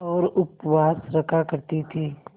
और उपवास रखा करती थीं